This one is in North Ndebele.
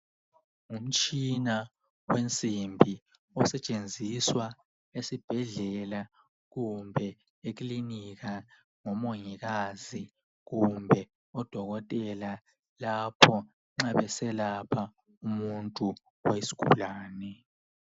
Umutshina wensimbi osetshenziswa esibhedlela kumbe ekilinika ngomongikazi kumbe odokotela lapho nxa beselapha umuntu oyisigulane.